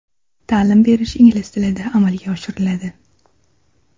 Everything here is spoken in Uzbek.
Ta’lim berish ingliz tilida amalga oshiriladi.